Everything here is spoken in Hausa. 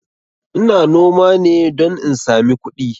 Ina noma ne don in sami kudi